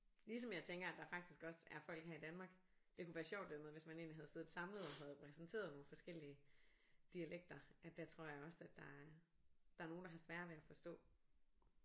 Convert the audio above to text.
Ligesom jeg tænker at der faktisk også er folk her i Danmark det kunne være sjovt den måde hvis man egentlig havde siddet samlet og havde præsenteret nogle forskellige dialekter at der tror jeg også at der der er nogen der har sværere ved at forstå